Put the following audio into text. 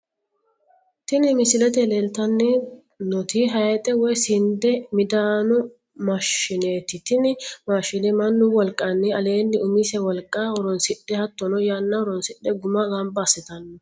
Tini misilete leelitanoti hayixxe woyi sinde midano maashi'neeti, tini mashine manu woliqani aleenni umise woliqa horonsidhe hattonno yana hornsidhe guma gamba asitano